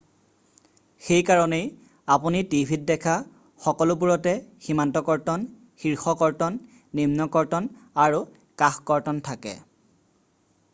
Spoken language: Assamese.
সেইকাৰণেই আপুনি টিভিত দেখা সকলোবোৰতে সীমান্ত কৰ্তন শীৰ্ষ কৰ্তন, নিম্ন কৰ্তন আৰু কাষ কৰ্তন থাকে ।